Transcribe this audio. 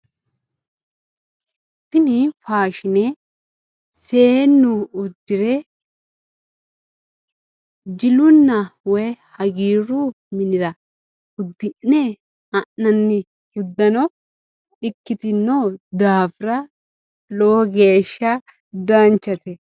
Tini faashine seennu uddire jilunna woyi hagiiru minira uddi'ne ha'nanni uddano ikkitino daafira lowo geeshsha danchate.